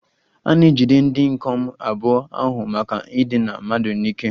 A na-ejide ndị ikom abụọ ahụ maka idina mmadụ n'ike